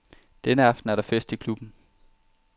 Denne aften er der fest i klubben.